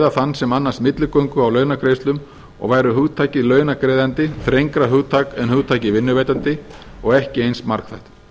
þann sem annast milligöngu á launagreiðslum og væri hugtakið launagreiðandi þrengra hugtak en hugtakið vinnuveitandi og ekki eins margþætt